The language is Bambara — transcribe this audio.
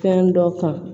Fɛn dɔ kan